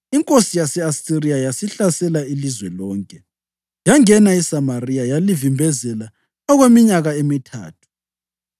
Inkosi yase-Asiriya yasihlasela ilizwe lonke, yangena eSamariya yalivimbezela okweminyaka emithathu.